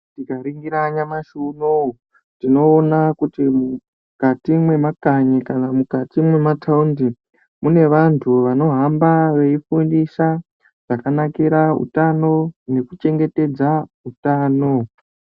Tikaningira nyamashi unowu, tinoona kuti mwukati mwemakanyi kana mukati mwemataundi mune vantu vanohamba veifundisa zvakanakira hutano nekuchengetedza hutano.